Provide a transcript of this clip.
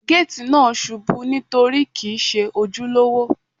Géètì náà ṣubú nítorí kìí Ṣe ojúlówó.